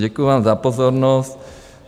Děkuju vám za pozornost.